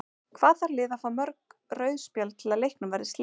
Hvað þarf lið að fá mörg rauð spjöld til að leiknum verði slitið?